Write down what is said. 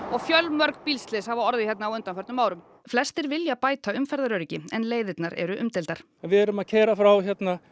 og fjölmörg bílslys hafa orðið hérna á undanförnum árum flestir vilja bæta umferðaröryggi en leiðirnar eru umdeildar við erum að keyra frá